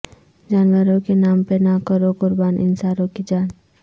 جانوروں کے نام پہ نہ کرو قربان انسانوں کی جان